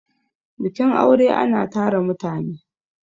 bikin aure ana tara mutane